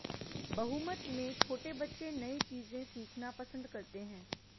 बहुमत में छोटे बच्चे नई चीजें सीखना पसंद करते हैं